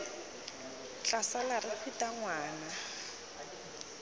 tla sala re phutha ngwana